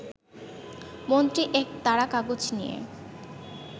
মন্ত্রী এক তাড়া কাগজ নিয়ে